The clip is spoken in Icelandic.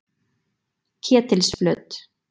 Ketilsflöt